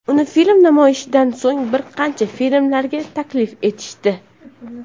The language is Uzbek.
Uni film namoyishidan so‘ng bir qancha filmlarga taklif etishdi.